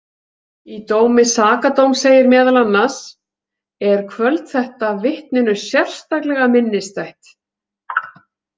Í dómi sakadóms segir meðal annars: Er kvöld þetta vitninu sérstaklega minnisstætt.